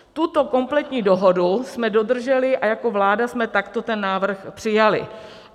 Tuto kompletní dohodu jsme dodrželi a jako vláda jsme takto ten návrh přijali.